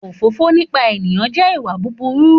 Òfófó nípa ènìyàn jẹ́ ìwà búburú